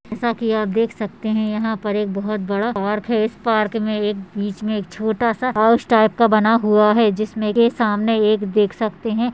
जैसा कि आप देख सकते हैं यहाँ पर एक बहोत बड़ा पार्क है इस पार्क में एक बीच में एक छोटा सा हाउस टाइप का बना हुआ है जिसमे के सामने देख सकते हैं --